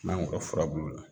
N'an bɔra furabulu la